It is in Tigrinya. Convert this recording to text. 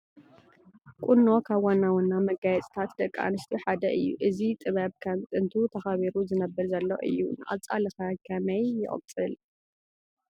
ቁኖ ካብ ዋና ዋና መጋየፅታት ደቂ ኣንስትዮ ሓደ እዩ፡፡ እዚ ጥበብ ከም ጥንቱ ተኸቢሩ ዝነብር ዘሎ እዩ፡፡ ንቐፃሊ ኸ ከመይ ይቕፅል?